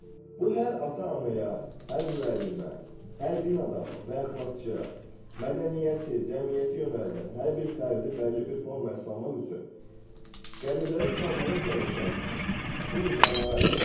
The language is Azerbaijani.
Bu hər ata-anaya, hər müəllimə, hər din adamı və əxlaqçıya, mədəniyyəti, cəmiyyəti yönəldən hər bir fərdi bəlli bir formaya salmaq üçün qəliblərə salmağa çalışan bu insanlara aiddir.